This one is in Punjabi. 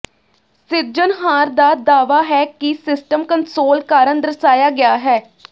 ਸਿਰਜਣਹਾਰ ਦਾ ਦਾਅਵਾ ਹੈ ਕਿ ਸਿਸਟਮ ਕੰਸੋਲ ਕਾਰਨ ਦਰਸਾਇਆ ਗਿਆ ਹੈ